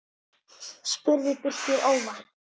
spurði Birkir óvænt.